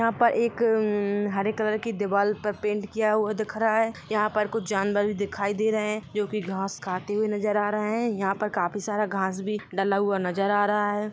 यहाँ पर एक-हरे कलर की दीवाल पर पेंट किया हुआ दिख रहा है यहाँ पर कुछ जानवर दिखाई दे रहे है जो की घास खाते हुए नजर आ रहे है यहां पर काफी सारा घास भी डला हुआ नजर आ रहा है।